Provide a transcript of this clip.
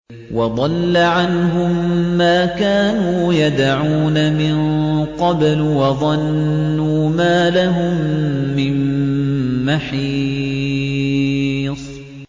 وَضَلَّ عَنْهُم مَّا كَانُوا يَدْعُونَ مِن قَبْلُ ۖ وَظَنُّوا مَا لَهُم مِّن مَّحِيصٍ